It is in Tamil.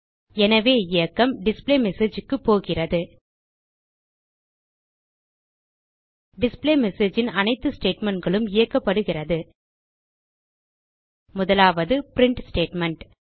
எனவே இயக்கம் displayMessageக்கு போகிறது டிஸ்பிளேமெஸேஜ் ன் அனைத்து statementகளும் இயக்கப்படுகிறது முதலாவது பிரின்ட் ஸ்டேட்மெண்ட்